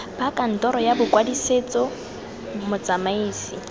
ba kantoro ya bokwadisetso motsamaisi